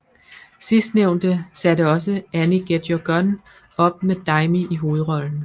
Sidstnævnte satte også Annie Get Your Gun op med Daimi i hovedrollen